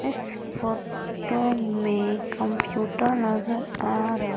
इस photo में computer नजर आ रहा--